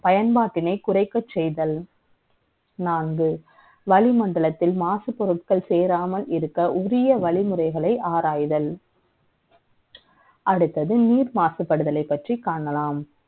பயன்பாட்டினை குறைக்க செய்தல் நான்கு வளிமண்டலத்தில் மாசுபொருட்கள் சேராமல் இருக்க கூடிய வழிமுறைகளை ஆராய்தல். அடுத்தது நீர் மாசுபடுதலை பற்றி காணலாம்